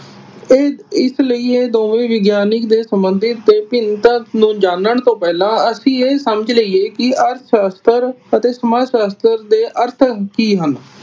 ਇਹ ਇਸ ਲਈ ਇਹ ਦੋਵੇ ਹੀ ਵਿਗਿਆਨਿਕ ਦੇ ਸੰਬੰਧਿਤ ਤੇ ਭਿਨਤਾ ਨੂੰ ਜਾਨਣ ਤੋਂ ਪਹਿਲਾ ਅਸੀਂ ਇਹ ਸਮਜ ਲਈਏ ਕਿ ਅਰਥ ਸ਼ਾਸਤਰ ਅਤੇ ਸਮਾਜ ਸ਼ਾਸਤਰ ਦੇ ਅਰਥ ਕਿ ਹਨ।